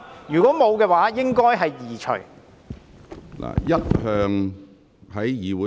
如果沒有，應該把紙牌移除。